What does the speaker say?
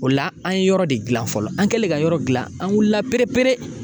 O la an ye yɔrɔ de gilan fɔlɔ an kɛlen ka yɔrɔ dilan an wulila perepere